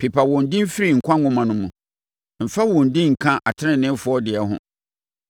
Pepa wɔn din firi nkwa nwoma no mu, mfa wɔn din nka ateneneefoɔ deɛ ho.